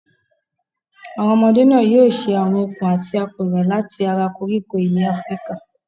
Àwọn ọmọdé náà yóò ṣe àwọn okùn àti apẹ̀rẹ̀ láti ara koríko ìyẹ́ Áfíríkà.